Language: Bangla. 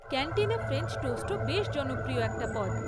ক্যান্টিনের ফ্রেঞ্চ টোস্টও বেশ জনপ্রিয় একটা পদ।